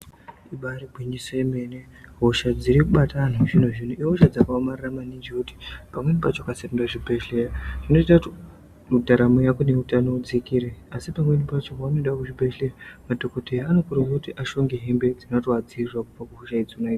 Ibari gwinyiso remene hosha dziri kubata antu vechizvino zvino ihosha dzakaomarara maningi zvekuti pamweni pacho ukasaenda kuchibhedhlera zvinoita kuti ndaramo yako nehutano udzikire asi pamweni pacho paunoenda kuzvibhedhlera madhokodheya anokurudzirwa ushonge hembe dzinovadzivirira kubva kuhosha dzona idzodzo.